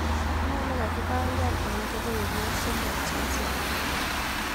Ne nekakipangan eng kebeberwek somok cheisupi?